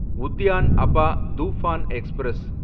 Udyan Abha Toofan express